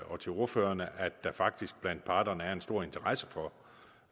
og til ordførerne at der faktisk blandt parterne er en stor interesse for